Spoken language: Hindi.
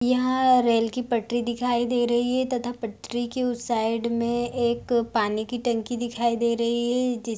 यहाँ रेल की पटरी दिखाई दे रही है तथा पटरी के उस साइड मे एक पानी की टंकी दिखाई दे रही है जिस --